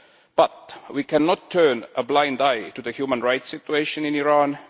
But we cannot turn a blind eye to the human rights situation in Iran.